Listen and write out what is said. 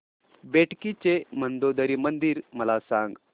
बेटकी चे मंदोदरी मंदिर मला सांग